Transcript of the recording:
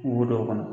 Wo dɔw kɔnɔ